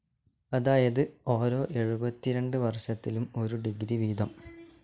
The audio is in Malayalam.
അതായത് ഓരോ എഴുപത്തിരണ്ട് വർഷത്തിലും ഒരു ഡിഗ്രി വീതം.